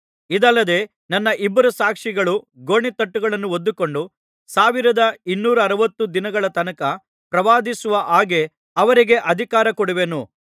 ಇದಲ್ಲದೆ ನನ್ನ ಇಬ್ಬರು ಸಾಕ್ಷಿಗಳು ಗೋಣಿತಟ್ಟುಗಳನ್ನು ಹೊದ್ದುಕೊಂಡು ಸಾವಿರದ ಇನ್ನೂರ ಅರವತ್ತು ದಿನಗಳ ತನಕ ಪ್ರವಾದಿಸುವ ಹಾಗೆ ಅವರಿಗೆ ಅಧಿಕಾರ ಕೊಡುವೆನು